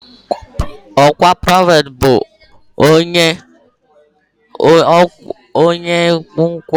Ọkwa Pụraịveti bụ onye nke abụọ n'ọkwa ma e were ya n'ọrụ.